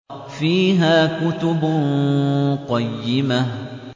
فِيهَا كُتُبٌ قَيِّمَةٌ